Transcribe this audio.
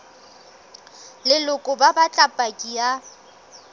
leloko ba batla paki ya